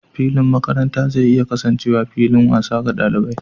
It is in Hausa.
Filin makaranta zai iya kasancewa fillin wasa ga ɗalibai.